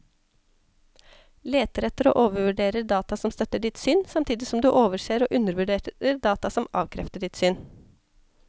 Leter etter og overvurderer data som støtter ditt syn, samtidig som du overser og undervurderer data som avkrefter ditt syn.